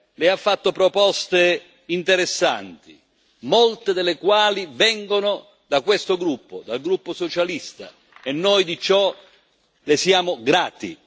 Lei ha fatto proposte interessanti, molte delle quali vengono dal gruppo socialista, e noi di ciò Le siamo grati.